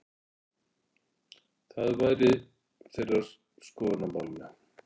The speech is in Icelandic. Það væri þeirra skoðun á málinu?